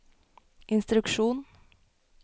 instruksjon